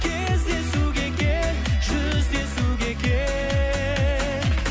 кездесуге кел жүздесуге кел